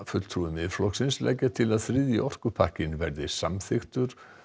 fulltrúi Miðflokksins leggja til að þriðji orkupakkinn verði samþykktur